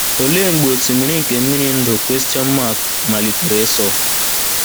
Olee mgbe “ osimiri nke mmiri ndụ question mark malitere ịsọ?